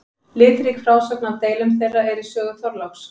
Litrík frásögn af deilum þeirra er í sögu Þorláks.